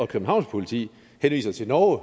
københavns politi henviser til norge